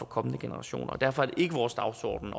kommende generationer derfor er det ikke vores dagsorden